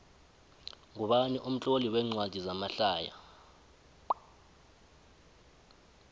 ngubani umtloli wencwadi zamahlaya